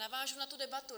Navážu na tu debatu.